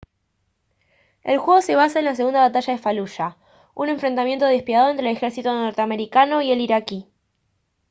el juego se basa en la segunda batalla de faluya un enfrentamiento despiadado entre el ejército norteamericano y el iraquí